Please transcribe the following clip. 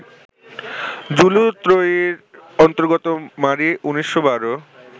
যুলু ত্রয়ীর অন্তর্গত মারী ১৯১২